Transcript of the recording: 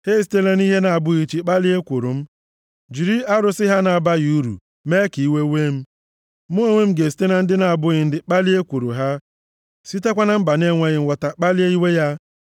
Ha esitela nʼihe na-abụghị chi kpalie ekworo m, jiri arụsị ha na-abaghị uru mee ka iwe wee m. Mụ onwe m ga-esite na ndị na-abụghị ndị kpalie ekworo ha, sitekwa na mba na-enweghị nghọta kpalie iwe ya.